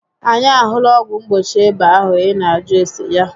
Anyị a hụla ọgwụ mgbochi ịba ahụ ị nà ajụ ese ya